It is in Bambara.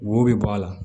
Wo bɛ bɔ a la